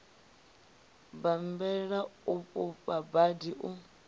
bammbela u fhufha khadi u